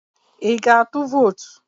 I ga-atụ vot?